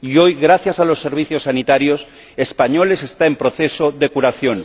Y hoy, gracias a los servicios sanitarios españoles, está en proceso de curación.